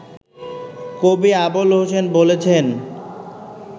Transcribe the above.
কবি আবুল হোসেন বলেছেন